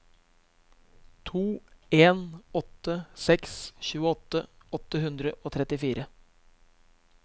to en åtte seks tjueåtte åtte hundre og trettifire